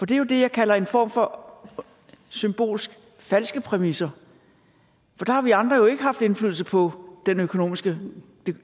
det er det jeg kalder en form for symbolske falske præmisser for der har vi andre jo ikke haft indflydelse på det økonomiske